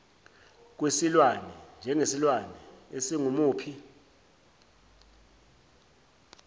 kwesilwane njengesilwane esingumuphi